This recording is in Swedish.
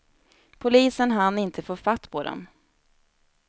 Polisen hann inte få fatt på dem.